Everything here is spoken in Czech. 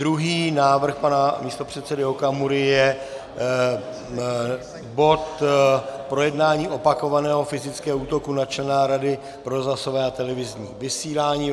Druhý návrh pan místopředsedy Okamury je bod Projednání opakovaného fyzického útoku na člena Rady pro rozhlasové a televizní vysílání.